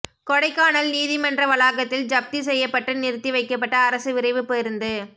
கொடைக்கானல் நீதிமன்ற வளாகத்தில் ஜப்தி செய்யப்பட்டு நிறுத்தி வைக்கப்பட்ட அரசு விரைவுப் பேருந்து